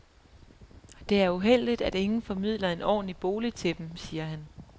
Det er uheldigt, at ingen formidler en ordentlig bolig til dem, siger han.